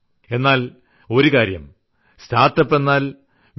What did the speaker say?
എന്നാൽ ഒരുകാര്യം സ്റ്റാർട്ട്അപ്പ് എന്നാൽ ഐ